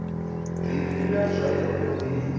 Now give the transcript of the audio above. ḓi vhila zwayo o ḓi